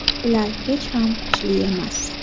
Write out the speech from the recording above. Ular hech ham kuchli emas.